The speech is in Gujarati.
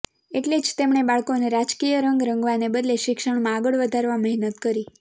એટલે જ તેમણે બાળકોને રાજકીય રંગ રંગવાને બદલે શિક્ષણમાં આગળ વધારવા મહેનત કરી